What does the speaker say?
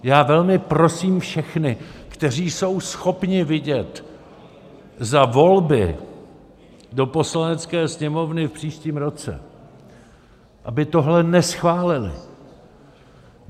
Já velmi prosím všechny, kteří jsou schopni vidět za volby do Poslanecké sněmovny v příštím roce, aby tohle neschválili.